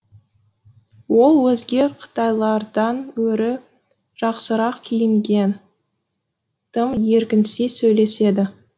ол өзге қытайлардан гөрі жақсырақ киінген тым еркінси сөйлеседі